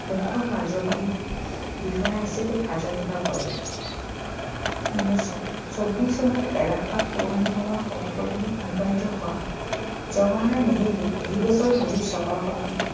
মূখ্য কাৰ্য্যবাহী বিষয়া হিচাপে কাৰ্য্যনিৰ্বাহ কৰে উনৈছশ ছৌবিশ চনত এলাহাবাদ পৌৰ নিগমৰ সভাপতি নিৰ্বাচিত হোৱা জৱাহৰলাল নেহেৰুৱে দুবছৰ ধৰি চহৰখনত